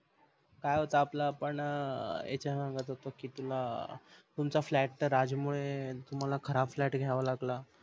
काय होता आपल आपण याच सांगत होत कि तुला तुमचा flat त्या राज मुळे तुम्हाला खराब FLAT घ्याव लागल